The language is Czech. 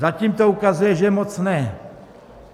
Zatím to ukazuje, že moc ne.